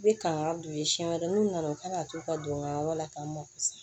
I bɛ kangan don u ye siɲɛ wɛrɛ n'u nana u kana t'u ka don n ka yɔrɔ la k'an mako sa